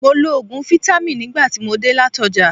Mo lo òògùn fítámìn nígbà tí mo dé láti ọjà.